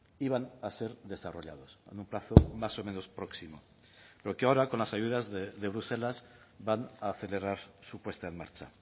iban a ser desarrollados en un plazo más o menos próximo pero que ahora con las ayudas de bruselas van a acelerar su puesta en marcha